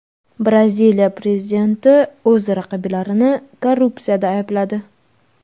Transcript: Braziliya prezidenti o‘z raqiblarini korrupsiyada aybladi.